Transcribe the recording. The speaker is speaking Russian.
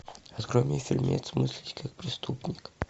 открой мне фильмец мыслить как преступник